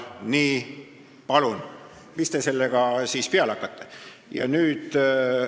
Nii, palun, mis te sellega siis peale hakkate?